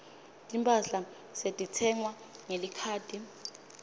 timphahla setitsengwa ngelikhadi